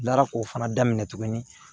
N taara k'o fana daminɛ tuguni